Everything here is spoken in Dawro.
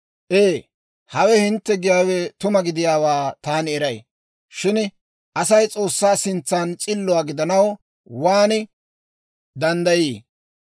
«Ee, hawe hintte giyaawe tuma gidiyaawaa taani eray. Shin Asay S'oossaa sintsan s'illuwaa gidanaw waan danddayii?